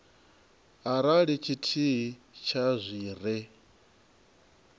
arali tshithihi tsha zwi re